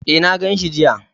E, na gan shi jiya.